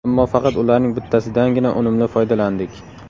Ammo faqat ularning bittasidangina unumli foydalandik.